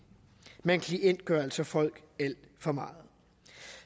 man klientgør altså folk alt for meget